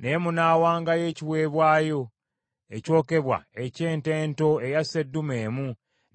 Naye munaawangayo ekiweebwayo ekyokebwa eky’ente ento eya sseddume emu,